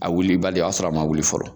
A wulibali o y'a sɔrɔ a ma wuli fɔlɔ